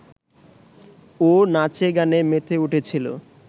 ও নাচে-গানে মেতে উঠেছিল